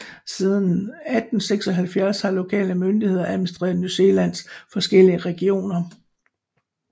Siden 1876 har lokale myndigheder administreret New Zealands forskellige regioner